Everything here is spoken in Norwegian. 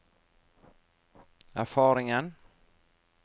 erfaringen